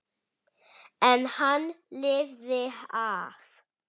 En hann lifði af.